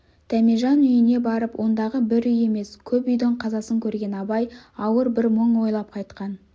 дәмежан үйіне барып ондағы бір үй емес көп үйдің қазасын көрген абай ауыр бір мұң ойлап қайтқан